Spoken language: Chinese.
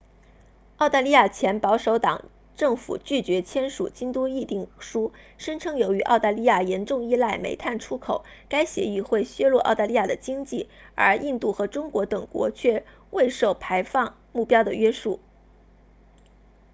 澳大利亚前保守党政府拒绝签署京都议定书声称由于澳大利亚严重依赖煤炭出口该协议会削弱澳大利亚的经济而印度和中国等国却未受排放目标的约束